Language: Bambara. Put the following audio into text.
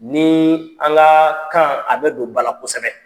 Ni an ka kan a bɛ don bala kosɛbɛ.